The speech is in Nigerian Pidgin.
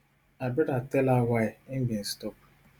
her broda tell her why im bin stop